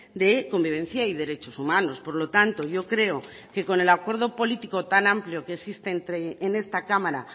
de convivencia y derechos humanos por lo tanto yo creo que con el acuerdo político tan amplio que existe en esta cámara